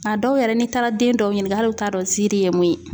A dɔw yɛrɛ n'i taara den dɔw ɲiniŋa , hali lu t'a dɔn nziiri ye mun ye.